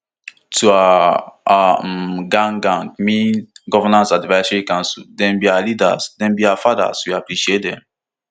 to our our um gac gac mean governance advisory council dem be our leaders dem be our fathers we appreciate dem